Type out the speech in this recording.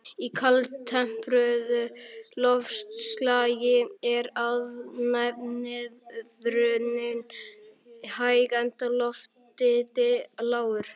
Í kaldtempruðu loftslagi er efnaveðrunin hæg enda lofthiti lágur.